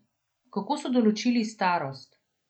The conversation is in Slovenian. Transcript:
Kako so določili starost?